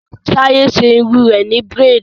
Taye ṣe irun rẹ ni braids